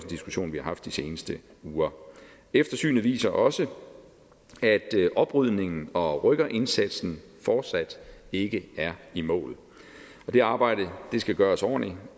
diskussion vi har haft de seneste uger eftersynet viser også at oprydningen og rykkerindsatsen fortsat ikke er i mål og det arbejde skal gøres ordentligt